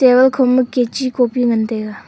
table kho ma kachi copy ngan taiga.